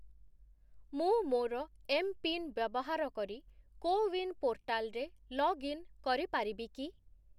ମୁଁ ମୋର ଏମ୍‌ପିନ୍‌ ବ୍ୟବହାର କରି କୋୱିନ୍ ପୋର୍ଟାଲ୍‌ରେ ଲଗ୍ଇନ୍ କରିପାରିବି କି?